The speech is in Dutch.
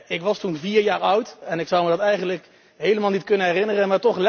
Ik was toen vier jaar oud en ik zou me dat eigenlijk helemaal niet kunnen herinneren.